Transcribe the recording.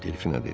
Delfinə dedi.